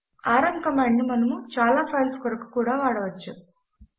RM command ను మనము చాలా ఫైల్స్ కొరకు కూడా వాడవచ్చు